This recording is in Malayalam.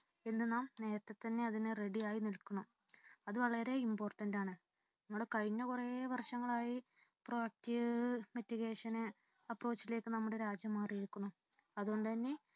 ഇന്ന് നാം നേരത്തെ തന്ന്നെ അതിനു ready ആയി നിൽക്കണം. അത് വളരെ important ആണ്. നമ്മുടെ കഴിഞ്ഞ കുറെ വർഷങ്ങളായി proact mitigation approach ലേക്ക് നമ്മുടെ രാജ്യം മാറിയിരിക്കുന്നു അതുകൊണ്ടുതന്നെ